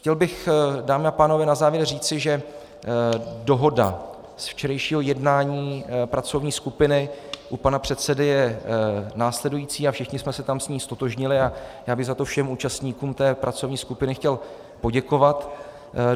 Chtěl bych, dámy a pánové, na závěr říci, že dohoda z včerejšího jednání pracovní skupiny u pana předsedy je následující - a všichni jsme se tam s ní ztotožnili, a já bych za to všem účastníkům té pracovní skupiny chtěl poděkovat.